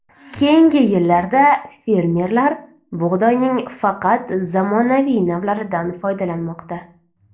Keyingi yillarda fermerlar bug‘doyning faqat zamonaviy navlaridan foydalanmoqda.